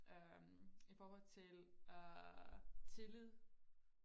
øhm i forhold til øh tillid